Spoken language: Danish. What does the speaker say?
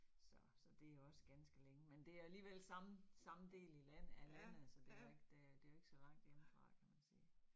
Så så det jo også ganske længe, men det alligevel samme samme del i land af landet, så det jo ikke det det jo ikke så langt hjemmefra kan man sige